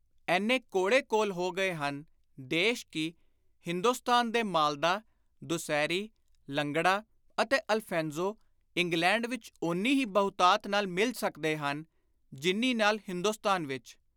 ਏਨੇ ਕੋਲੋ-ਕੋਲ ਹੋ ਗਏ ਹਨ ਦੋਸ਼ ਕਿ ਹਿੰਦੁਸਤਾਨ ਦੇ ਮਾਲਦਾਾ, ਦੁਸਹਿਰੀ, ਲੰਗੜਾ ਅਤੇ ਅਲਫੈਂਜ਼ੋ, ਇੰਗਲੈਂਡ ਵਿਚ ਓਨੀ ਹੀ ਬਹੁਤਾਤ ਨਾਲ ਮਿਲ ਸਕਦੇ ਹਨ ਜਿੰਨੀ ਨਾਲ ਹਿੰਦੁਸਤਾਨ ਵਿਚ।